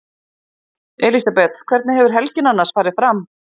Elísabet: Hvernig hefur helgin annars farið fram?